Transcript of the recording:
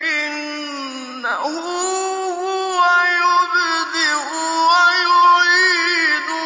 إِنَّهُ هُوَ يُبْدِئُ وَيُعِيدُ